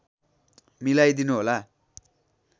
मिलाई दिनुहोला